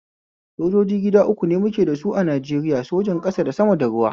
Sojoji gida uku ne muke da sa a Najeriya, sojan ƙasa da sama da ruwa